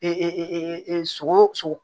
E e sogo sogo